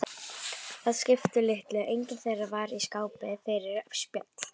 Það skipti litlu, enginn þeirra var í skapi fyrir spjall.